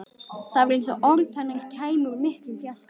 Það var eins og orð hennar kæmu úr miklum fjarska.